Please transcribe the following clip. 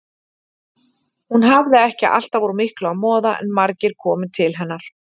Hún hafði ekki alltaf úr miklu að moða en margir komu til hennar.